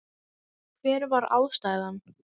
Hver var ástæðan?